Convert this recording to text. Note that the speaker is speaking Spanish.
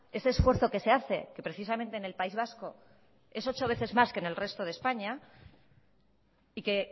ese esfuerzo que se hace que precisamente en el país vasco es ocho veces más que en el resto de españa y que